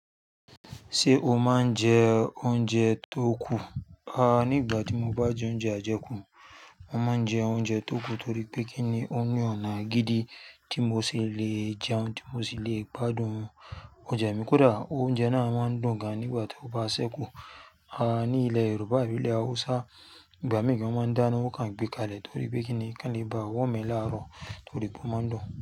Ṣé o máa ń jẹ oúnjẹ tó kù? À nígbà tí mo bá jẹ oúnjẹ àjẹkù, mo máa ń jẹ oúnjẹ tó kù torí pé kíni òun ọ̀nà gidi tí mo ṣe le jẹun, tí mo ṣe le gbádùn oúnjẹ mi kódà oúnjẹ náà máa ń dùn gan nígbà tó bá ṣẹ́kù. À ní ilẹ̀ Yorùbá àbí ilẹ̀ Hausa, ìgbà mìíràn gan won ma ndáná, wọn kàn gbé kalẹ̀ torí pé kíni ki won lee ba nwọ́omu láàárọ̀ torí pé wọ́n máa ń dùn.